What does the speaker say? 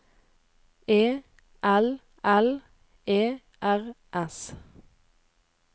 E L L E R S